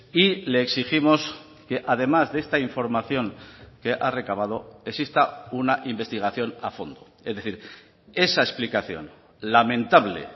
y le exigimos que además de esta información que ha recabado exista una investigación a fondo es decir esa explicación lamentable